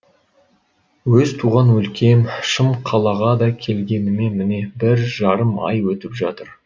өз туған өлкем шым қалаға да келгеніме міне бір жарым ай өтіп жатыр